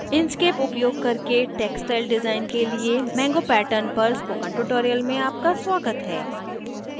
inkscape उपयोग करके textile design के लिए mango pattern पर spoken tutorial में आपका स्वागत है